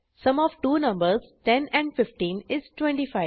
sum of two numbers 10 and 15 is 25